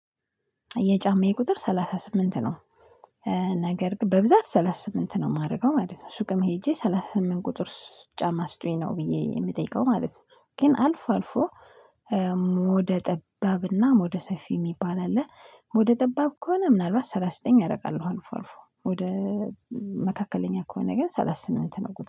የጫማዬ ቁጥር ሰላሳ ስምንት ነው። ነገር በብዛት ሰላሳ ስምንት ነው የማደርገው ማለት ነው ሱቅም ሄጄ ሰላሳ ስምንት ቁጥር ጫማ ስጡኝ ነው ብዬ የምጠይቀው ማለት ነው። ግን አልፎ አልፎ ወደ ጠባብና ወደ ሰፊ የሚባል አለ ወደ ጠባብ ከሆነ ምናልባት ሰላሳ ዘጠኝ አረጋለሁ። አልፎ አልፎ ወደ መካከለኛ ከሆነ ግን ሰላሳ ስምንት ነው ጉዳይ